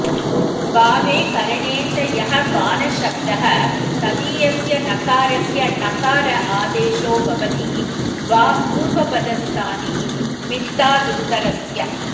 भावे करणे च यः पानशब्दः तदीयस्य नकारस्य णकार आदेशो भवति वा पूर्वपदस्थानिमित्तादुत्तरस्य